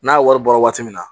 N'a wari bɔra waati min na